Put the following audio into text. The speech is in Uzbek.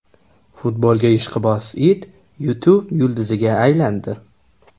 Futbolga ishqiboz it YouTube yulduziga aylandi.